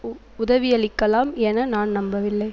உ உதவியளிக்கலாம் என நான் நம்பவில்லை